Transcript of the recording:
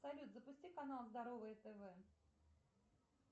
салют запусти канал здоровое тв